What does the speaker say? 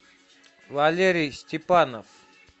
валерий степанов